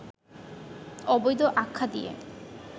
অবৈধ আখ্যা দিয়ে